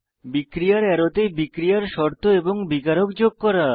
বিক্রিয়ার অ্যারোতে বিক্রিয়ার শর্ত এবং বিকারক যোগ করা